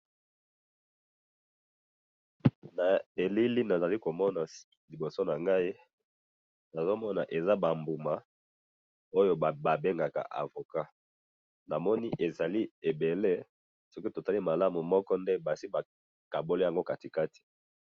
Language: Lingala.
Na elili nazali komona liboso na ngayi, nazomona eza ba mbuma Oyo babengaka avocat. Namoni ezali ebele, soki totali malamu, Moko Nde basi bakaboli Yango katikati.